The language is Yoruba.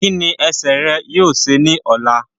Kí ni ẹsẹ̀ rẹ yóò ṣe ní ọ̀la?